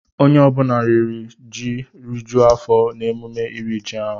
Onye ọ bụla riri ji rijuo afọ n'emume iri ji ọhụrụ.